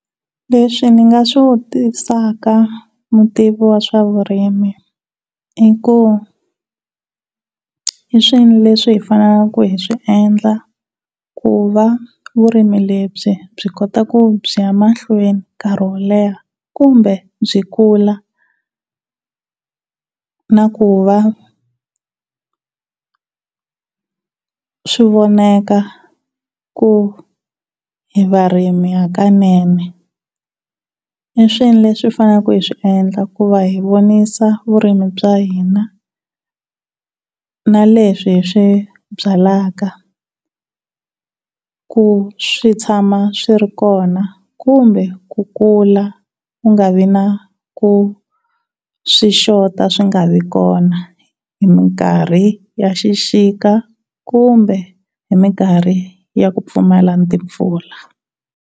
Leswi ndzi nga swi vutisaka mutivi wa swa vurimi i ku hi swini leswi hi fanelaka hi swi endla kuva vurimi lebyi byi kota ku byi ya mahlweni nkarhi wo leha kumbe byi kula na ku va swi vonaka ku hakanene? Hi swihi leswi hi fanelaka hi swi endla ku va hi vonisa vurimi bya hina na leswihi swi byaleke ku swi tshama swi ri kona kumbe ku kula ku nga vi na ku swi xota swi nga vi kona hi mikarhi ya xixika kumbe hi mikarhi ya ku pfumala timpfula?